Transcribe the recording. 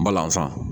N balasan